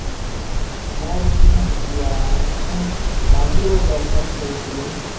মই এতিয়া কি হম এতিয়া, মানে ভাবিছিলো কিবা job চম কৰিম বুলি